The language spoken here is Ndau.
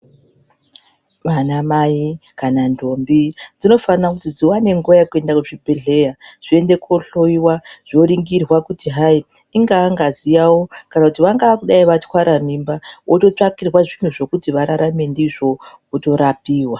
Vana mai kana ndombi dzinofanira kuti dziwane nguwa yekuenda kuzvibhedhleya zviende kohloyiwa zvoningirwa kuti hai ingaa ngazi yawo kana kuti vangadai vatware mimba vototsvakirwa zvinhu zvekuti vararame ndizvo votorapiwa.